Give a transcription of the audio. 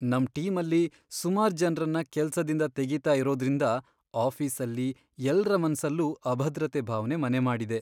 ನಮ್ ಟೀಮಲ್ಲಿ ಸುಮಾರ್ ಜನ್ರನ್ನ ಕೆಲ್ಸದಿಂದ ತೆಗೀತಾ ಇರೋದ್ರಿಂದ ಆಫೀಸಲ್ಲಿ ಎಲ್ರ ಮನ್ಸಲ್ಲೂ ಅಭದ್ರತೆ ಭಾವ್ನೆ ಮನೆಮಾಡಿದೆ.